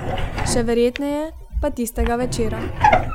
Še verjetneje pa tistega večera.